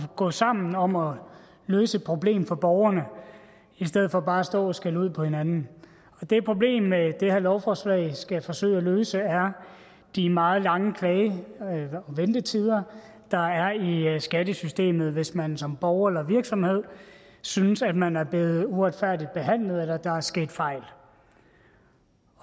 gå sammen om at løse et problem for borgerne i stedet for bare at stå og skælde ud på hinanden det problem det her lovforslag skal forsøge at løse er de meget lange klage og ventetider der er i skattesystemet hvis man som borger eller virksomhed synes at man er blevet uretfærdigt behandlet eller der er sket fejl